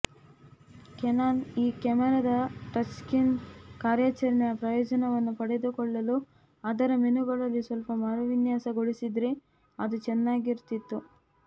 Canon ಈ ಕ್ಯಾಮರಾದ touchscreen ಕಾರ್ಯಾಚರಣೆಯ ಪ್ರಯೋಜನವನ್ನು ಪಡೆದುಕೊಳ್ಳಲು ಅದರ ಮೆನುಗಳಲ್ಲಿ ಸ್ವಲ್ಪ ಮರುವಿನ್ಯಾಸಗೊಳಿಸಿದರೆ ಅದು ಚೆನ್ನಾಗಿರುತ್ತಿತ್ತು